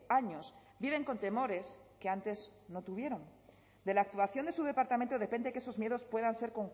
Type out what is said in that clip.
años viven con temores que antes no tuvieron de la actuación de su departamento depende que esos miedos puedan ser